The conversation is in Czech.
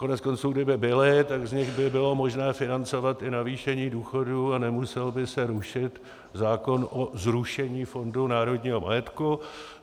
Koneckonců kdyby byly, tak z nich by bylo možné financovat i navýšení důchodů a nemusel by se rušit zákon o zrušení Fondu národního majetku.